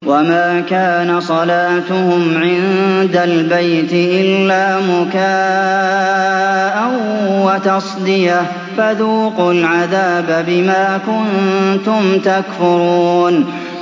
وَمَا كَانَ صَلَاتُهُمْ عِندَ الْبَيْتِ إِلَّا مُكَاءً وَتَصْدِيَةً ۚ فَذُوقُوا الْعَذَابَ بِمَا كُنتُمْ تَكْفُرُونَ